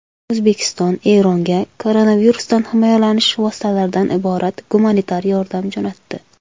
O‘zbekiston Eronga koronavirusdan himoyalanish vositalaridan iborat gumanitar yordam jo‘natdi.